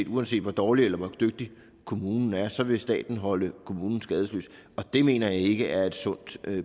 uanset hvor dårlig eller hvor dygtig kommunen er så vil staten holde kommunen skadesløs og det mener jeg ikke er et sundt